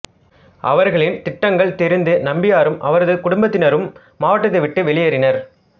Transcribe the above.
அவர்களின் திட்டங்கள் தெரிந்து நம்பியாரும் அவரது குடும்பத்தினரும் மாவட்டத்தை விட்டு வெளியேறினர்